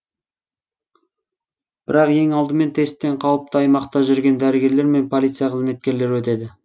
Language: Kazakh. бірақ ең алдымен тесттен қауіпті аймақта жүрген дәрігерлер мен полиция қызметкерлері өтеді